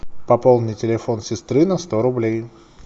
пополни телефон сестры на сто рублей